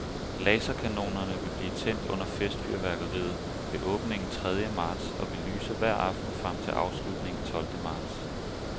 Laserkanonerne vil blive tændt under festfyrværkeriet ved åbningen tredje marts og vil lyse hver aften frem til afslutningen tolvte marts.